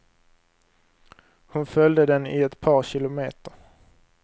Hon följde den i ett par kilometer.